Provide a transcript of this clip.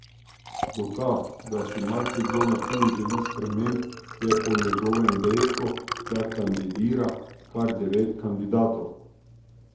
Dokaz, da si marsikdo na Ptuju želi sprememb, je po njegovem dejstvo, da kandidira kar devet kandidatov.